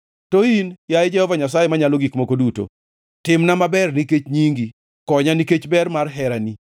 To in, yaye Jehova Nyasaye Manyalo Gik Moko Duto, timna maber nikech nyingi; konya nikech ber mar herani.